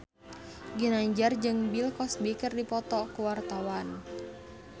Ginanjar jeung Bill Cosby keur dipoto ku wartawan